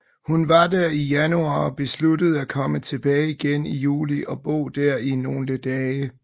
Hun var der i januar og besluttede at komme tilbage igen i juli og bo der i nogle dage